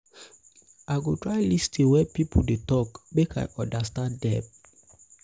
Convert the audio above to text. i go try lis ten well wen pipo dey tok make i understand dem.